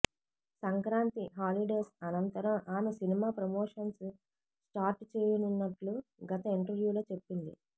Sankranti holidays అనంతరం ఆమె cinema promotions start చేయనున్నట్లు గత ఇంటర్వ్యూలో చెప్పింది